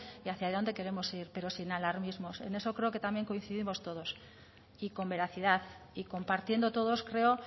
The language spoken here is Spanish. y hacia dónde queremos ir pero sin alarmismos en eso creo que también coincidimos todos y con veracidad y compartiendo todos creo